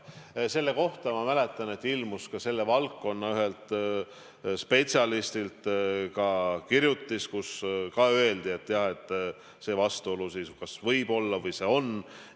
Ma mäletan, et selle kohta ilmus ka selle valdkonna ühelt spetsialistilt kirjutis, kus öeldi, et jah, et see vastuolu kas võib olla või see on.